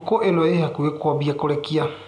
Ngũkũ ĩno ĩ hakuhĩ kwambia kũrekia.